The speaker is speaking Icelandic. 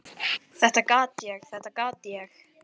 Þetta gat ég, þetta gat ég!